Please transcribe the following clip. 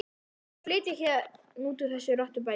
Ég ætla að flytja héðan úr þessu rottubæli í kvöld.